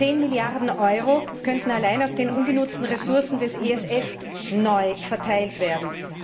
10 Milliarden Euro könnten allein aus den ungenutzten Ressourcen des ESF neu verteilt werden.